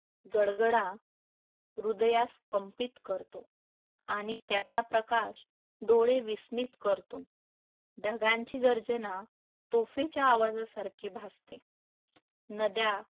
गडगडा हृदयास कंपित करतो आणि त्याचा प्रकाश डोळे विस्मित करतो. ढगांची गर्जना तोफेच्या आवाजासारखी भासते. नद्या